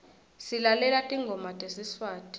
silalela tingoma tesiswati